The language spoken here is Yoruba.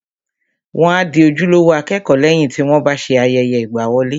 Wọ́n a di ojúlówó akẹ́kọ̀ọ́ lẹ́yìn tí wọ́n bá ṣe ayẹyẹ ìgbàwọlé